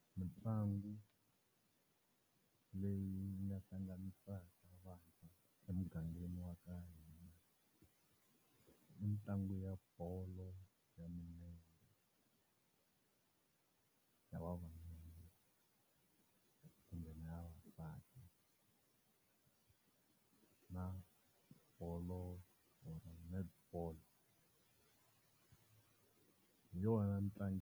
Mitlangu leyi yi nga hlanganisaka vantshwa emugangeni wa ka hina i mitlangu ya bolo ya milenge, ya vavanuna kumbe na ya vavasati na bolo or netball. Hi yona .